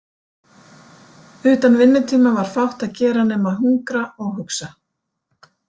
Utan vinnutíma var fátt að gera nema að hungra og hugsa.